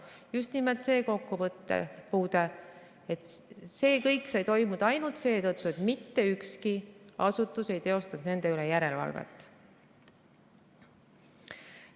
Just nimelt see kokkupuude, et see kõik sai toimuda ainult seetõttu, et mitte ükski asutus ei teostanud nende üle järelevalvet.